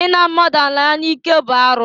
I na mmadụ ala ya n'ike bụ arụ.